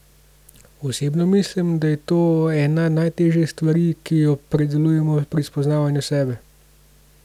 Osebno mislim, da je to ena najtežjih stvari, ki jo predelujemo pri spoznavanju sebe.